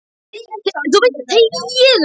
Þú veist ekki hvernig hann horfir stundum á mig.